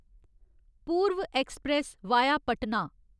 पूर्व express via Patna